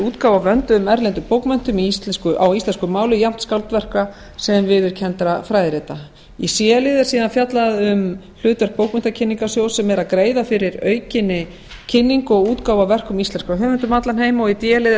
útgáfu á vönduðum erlendum bókverkum á íslensku máli jafnt skáldverka sem viðurkenndra fræðirita í c lið er síðan fjallað um hlutverk bókmenntakynningarsjóðs sem er að greiða fyrir aukinni kynningu og útgáfu á verkum íslenskra höfunda um allan heim og í d lið er